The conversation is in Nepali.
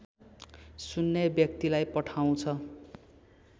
सुन्ने व्यक्तिलाई पठाउँछ